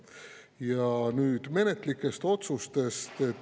Ja nüüd menetluslikest otsustest.